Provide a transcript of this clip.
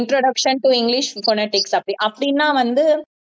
introduction to english phonetics அப்படி அப்படின்னா வந்து